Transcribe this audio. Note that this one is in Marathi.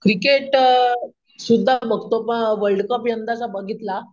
क्रिकेट अम सुद्धा बगतो पण वर्ल्ड कप यंदाचा बघितला